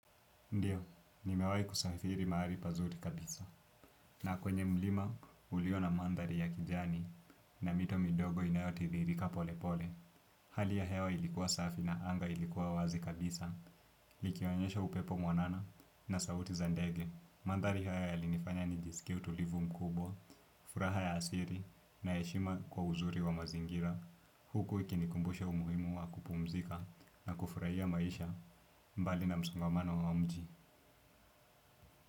Ndio, nimewahi kusafiri mahari pazuri kabisa. Na kwenye mlima, ulio na mandari ya kijani na mito midogo inayotiiririka pole pole. Hali ya hewa ilikuwa safi na anga ilikuwa wazi kabisa. Likionyesha upepo mwanana na sauti za ndege. Mandhari haya yalinifanya nijisikie utulivu mkubwa, furaha ya asiri na heshima kwa uzuri wa mazingira. Huku, ikinikumbusha umuhimu wa kupumzika na kufurahia maisha. Mbali na msongamano wa mji.